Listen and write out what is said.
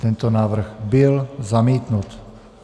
Tento návrh byl zamítnut.